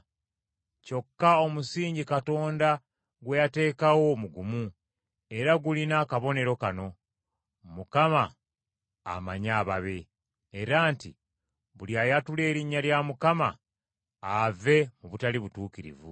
Kyokka omusingi Katonda gwe yateekawo mugumu, era gulina akabonero kano: “Mukama amanyi ababe.” Era nti: “Buli ayatula erinnya lya Mukama ave mu butali butuukirivu.”